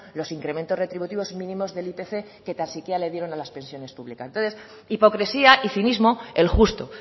los incrementos retributivos mínimos del ipc que tan siquiera le dieron a las pensiones públicas entonces hipocresía y cinismo el justo